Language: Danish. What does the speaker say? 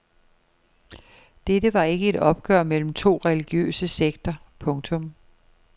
Dette var ikke et opgør mellem to religiøse sekter. punktum